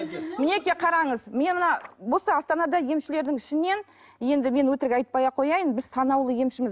мінекей қараңыз мен мына осы астанада емшілердің ішінен енді мен өтірік айтпай ақ қояйын біз санаулы емшіміз